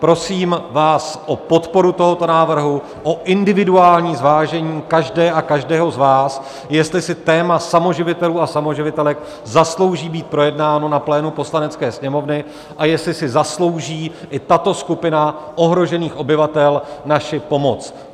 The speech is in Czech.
Prosím vás o podporu tohoto návrhu, o individuální zvážení každé a každého z vás, jestli si téma samoživitelů a samoživitelek zaslouží být projednáno na plénu Poslanecké sněmovny a jestli si zaslouží i tato skupina ohrožených obyvatel naši pomoc.